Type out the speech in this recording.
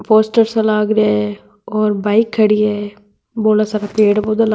पोस्टर सा लाग रिया है और बाइक खड़ी है बोला सारा पेड़ पौधा ला --